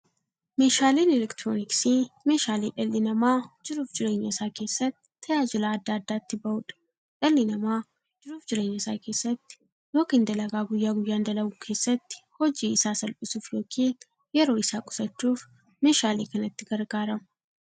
Meeshaaleen elektirooniksii meeshaalee dhalli namaa jiruuf jireenya isaa keessatti, tajaajila adda addaa itti bahuudha. Dhalli namaa jiruuf jireenya isaa keessatti yookiin dalagaa guyyaa guyyaan dalagu keessatti, hojii isaa salphissuuf yookiin yeroo isaa qusachuuf meeshaalee kanatti gargaarama.